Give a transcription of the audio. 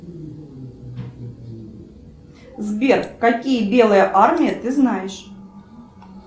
сбер какие белые армии ты знаешь